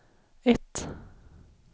ett